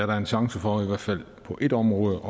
da en chance for i hvert fald på ét område